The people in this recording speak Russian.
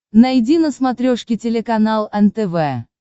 найди на смотрешке телеканал нтв